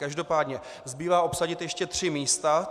Každopádně zbývá obsadit ještě tři místa.